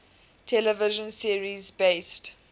television series based